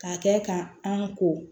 K'a kɛ ka an ko